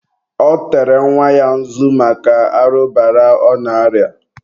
ọ tere nwa ya nzu maka arụbara ọ na-arịa.